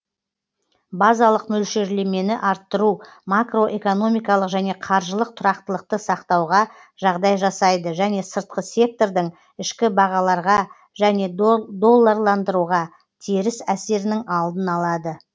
базалық мөлшерлемені арттыру макроэкономикалық және қаржылық тұрақтылықты сақтауға жағдай жасайды және сыртқы сектордың ішкі бағаларға және долларландыруға теріс әсерінің алдын алады